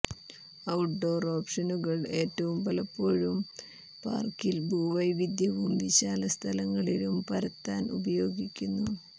outdoor ഓപ്ഷനുകൾ ഏറ്റവും പലപ്പോഴും പാർക്കിൽ ഭൂവൈവിധ്യവും വിശാലസ്ഥലങ്ങളിലും പരത്താൻ ഉപയോഗിക്കുന്നു